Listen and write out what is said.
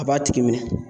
A b'a tigi minɛ